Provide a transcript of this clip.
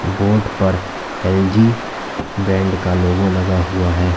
Board पर L G brand का logo लगा हुआ है।